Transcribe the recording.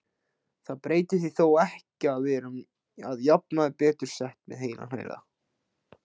Það breytir því þó ekki að við erum að jafnaði betur sett með heilan heila.